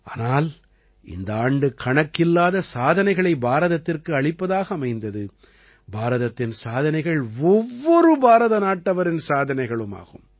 ஆனால் இந்த ஆண்டு கணக்கில்லாத சாதனைகளை பாரதத்திற்கு அளிப்பதாக அமைந்தது பாரதத்தின் சாதனைகள் ஒவ்வொரு பாரத நாட்டவரின் சாதனைகளும் ஆகும்